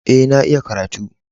Eh, na iya karatu.